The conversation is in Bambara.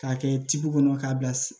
K'a kɛ kɔnɔ k'a bilasi